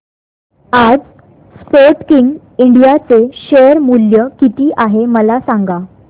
आज Sportking India चे share मूल्य किती आहे मला सांगा